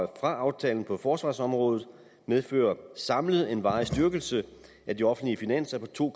aftalen på forsvarsområdet medfører samlet en varig styrkelse af de offentlige finanser på to